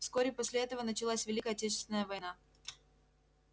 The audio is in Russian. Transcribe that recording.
вскоре после этого началась великая отечественная война